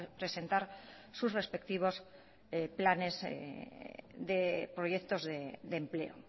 presentar sus respectivos planes proyectos de empleo